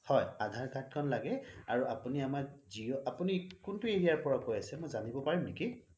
হয় আধাৰ card খন লাগে আপুনি আমাৰ জিঅ' আপুনি কোনটো area ৰ পৰা কয় আছে মই জানিব পাৰিম নেকি